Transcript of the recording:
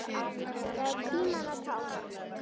Það er tímanna tákn.